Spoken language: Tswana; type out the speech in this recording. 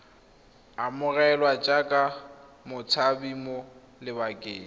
amogelwa jaaka motshabi mo lebakeng